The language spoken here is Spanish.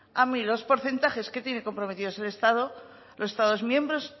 a mí los porcentajes que tiene comprometidos el estado los estados miembros